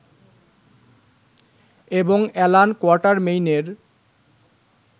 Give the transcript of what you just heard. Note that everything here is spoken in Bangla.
এবং অ্যালান কোয়াটারমেইনের